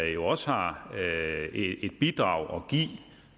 jo også har et bidrag